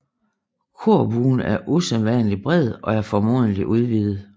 Korbuen er usædvanlig bred og er formodentlig udvidet